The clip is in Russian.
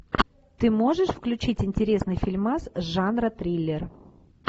ты можешь включить интересный фильмас жанра триллер